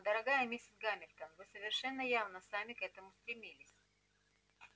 но дорогая миссис гамильтон вы совершенно явно сами к этому стремились